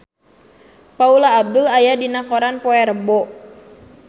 Paula Abdul aya dina koran poe Rebo